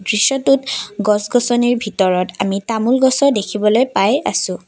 দৃশ্যটোত গছ গছনিৰ ভিতৰত আমি তামোল গছো দেখিবলৈ পাই আছোঁ।